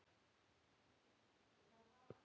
Heimir: Sem er?